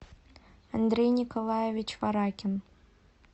андрей николаевич варакин